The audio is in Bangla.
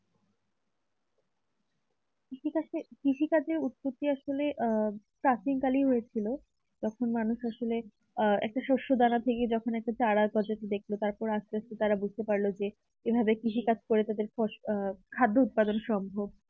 কৃষি কাজের আহ কৃষি কাজের উৎপত্তি আসলে আহ প্রাচীনকালেই হয়েছিল। যখন মানুষ আসলে একটা শ্বশুর দানা থেকে যখন চারা গজাতে দেখল তার আস্তে আস্তে তারা বুঝতে পারল যে এভাবে কৃষিকাজ করে তাদের ফসল খাদ্য উৎপাদন সম্ভব